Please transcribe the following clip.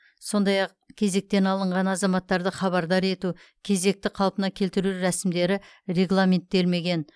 сондай ақ кезектен алынған азаматтарды хабардар ету кезекті қалпына келтіру рәсімдері регламенттелмеген